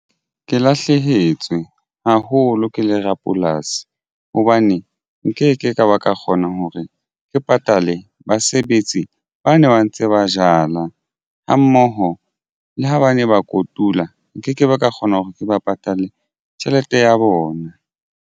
Ke lahlehetswe haholo ke le rapolasi hobane nkeke ka ba ka kgona hore ke patale basebetsi ba ne ba ntse ba jala ha mmoho le ho ba ne ba kotula nkekebe ka kgona hore ke ba patale tjhelete ya bona.